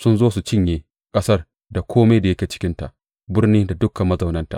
Sun zo su cinye ƙasar da kome da yake cikinta, birni da dukan mazaunanta.